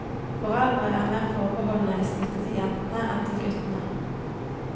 Foreldre er mer forbeholdne i støtte til jentene enn til guttene.